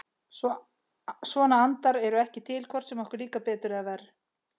Svona andar eru ekki til, hvort sem okkur líkar betur eða verr.